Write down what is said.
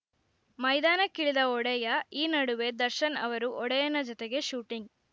ಮೈದಾನಕ್ಕಿಳಿದ ಒಡೆಯ ಈ ನಡುವೆ ದರ್ಶನ್‌ ಅವರು ಒಡೆಯನ ಜತೆಗೆ ಶೂಟಿಂಗ್‌